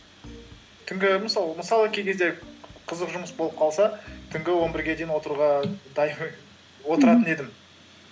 түнгі мысалы кей кезде қызық жұмыс болып қалса түнгі он бірге дейін отыруға отыратын едім